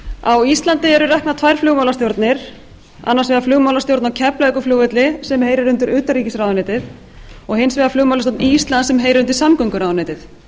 á íslandi eru reknar tvær flugmálastjórnir annars vegar flugmálastjórn á keflavíkurflugvelli sem heyrir undir utanríkisráðuneytið hins vegar flugmálastjórn íslands sem heyrir undir samgönguráðuneytið